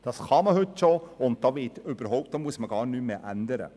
Das kann man bereits heute, und man muss gar nichts mehr ändern.